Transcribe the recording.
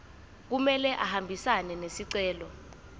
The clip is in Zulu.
kumele ahambisane nesicelo